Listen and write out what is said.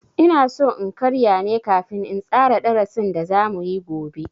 Inaso in karya ne kafin in tsara darasin da za muyi gobe.